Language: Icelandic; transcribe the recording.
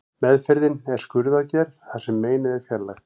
Meðferðin er skurðaðgerð þar sem meinið er fjarlægt.